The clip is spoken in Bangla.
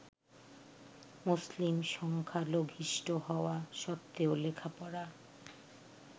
মুসলিম সংখ্যালঘিষ্ঠ হওয়া সত্ত্বেও লেখাপড়া